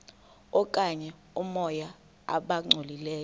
okanye oomoya abangcolileyo